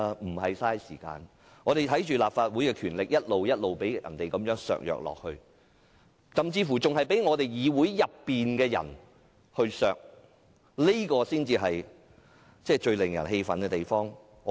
我們面對強權，看着立法會的權力一直被削弱，甚至是被議會內的人削弱，這才是最令人氣憤的地方。